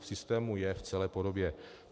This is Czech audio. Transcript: V systému je v celé podobě.